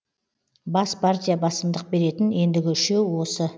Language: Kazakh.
бас партия басымдық беретін ендігі үшеу осы